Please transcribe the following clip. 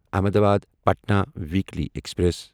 Ahmedabad Patna weekly express